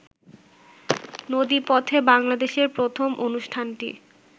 নদীপথে বাংলাদেশের প্রথম অনুষ্ঠানটি